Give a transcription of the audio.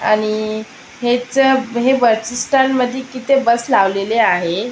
आणि हेच ब हे बस स्टॅन्ड मध्ये किती बस लावलेले आहे.